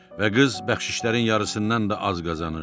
Və qız bəxşişlərin yarısından da az qazanırdı.